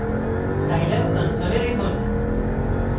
scilab console লিখুন